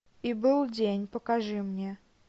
и был день покажи мне